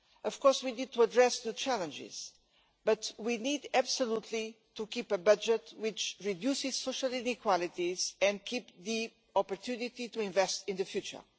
Of course we need to address the challenges, but we need absolutely to keep a budget which reduces social inequalities and keeps the opportunity to invest in the future.